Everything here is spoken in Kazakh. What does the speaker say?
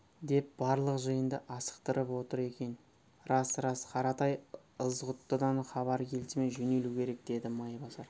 деп барлық жиынды асықтырып отыр екен рас рас қаратай ызғұттыдан хабар келісімен жөнелу керек деді майбасар